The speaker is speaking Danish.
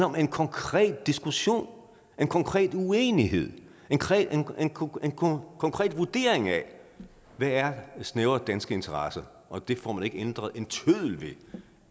om en konkret diskussion om en konkret uenighed om en konkret konkret vurdering af hvad der er snævre danske interesser og det får man ikke ændret en tøddel ved